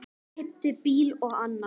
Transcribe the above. Keypti bíl og annan.